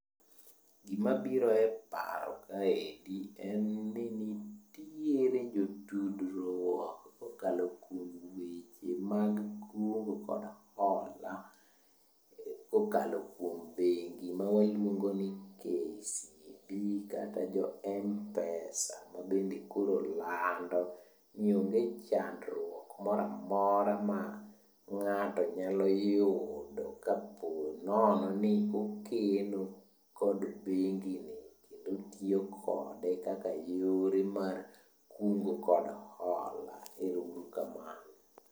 Gimabiro e paro kaendi en ni nitiere jotudruok kokalo kuom weche mag kungo kod hola kokalo kuom bendi ma waluongo ni KCB kata jo Mpesa ma bende koro lando ni onge chandruok moro amora ma ng'ato nyalo yudo ka po nono ni okeno kod bengi ni kendo otiyo kode kaka yore mar kungo kod hola, ero uru kamano.